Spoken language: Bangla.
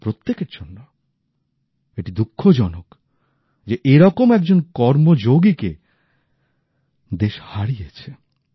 আমাদের প্রত্যেকের জন্য এটি দুঃখজনক যে এরকম একজন কর্ম যোগীকে দেশ হারিয়েছে